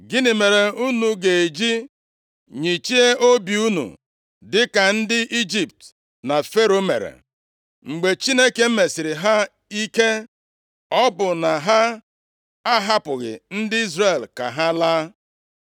Gịnị mere unu ga-eji nyịchie obi unu dịka ndị Ijipt na Fero mere? Mgbe Chineke mesiri ha ike, ọ bụ na ha ahapụghị ndị Izrel ka ha laa?